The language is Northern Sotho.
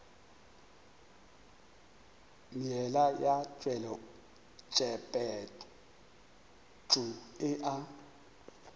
meela ya tshepetšo e a